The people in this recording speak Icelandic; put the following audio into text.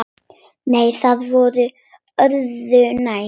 Nei, það var öðru nær!